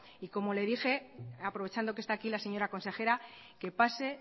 y como le dije aprovechando que está aquí la señora consejera que pase